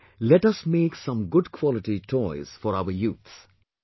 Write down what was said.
Come, let us make some good quality toys for our youth